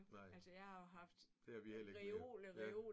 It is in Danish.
Nej. Det har vi hellere ikke mere. Ja